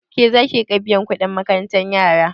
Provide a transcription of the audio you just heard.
Ke zaki riƙa biyan kuɗin makarantar yara?